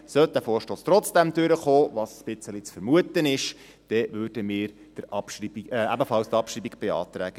Sollte dieser Vorstoss trotzdem durchkommen, was ein bisschen zu vermuten ist, dann würden wir ebenfalls, wie die grüne Fraktion, die Abschreibung beantragen.